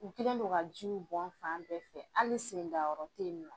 U kɛlen don ka jiw bɔn fan bɛɛ fɛ hali sendayɔrɔ teyinɔ.